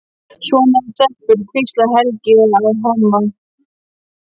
Svona eru stelpur, hvíslar Helgi að Hemma.